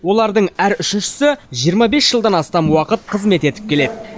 олардың әр үшіншісі жиырма бес жылдан астам уақыт қызмет етіп келеді